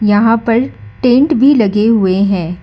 यहां पर टेंट भी लगे हुए हैं।